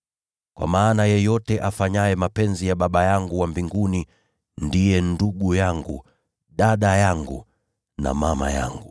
Kwa maana yeyote afanyaye mapenzi ya Baba yangu wa mbinguni, huyo ndiye ndugu yangu, na dada yangu na mama yangu.”